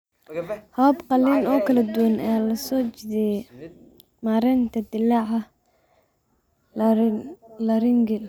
Habab qalliin oo kala duwan ayaa loo soo jeediyay maaraynta dillaaca laryngeal.